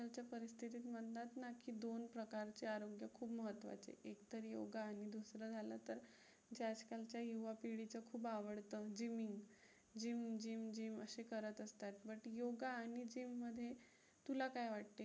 स्वतःचे आरोग्य खूप महत्त्वाचे. एक तर योगा आणि दुसरं झालं तर जे आजकालच्या युवापिढीचं खूप आवडतं म्हणजे gyming, gym gym gym असे करत असतात, but योगा आणि gym मध्ये तुला काय वाटते?